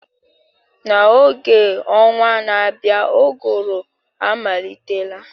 N'oge a ọnwa na-abịa uguru amalitela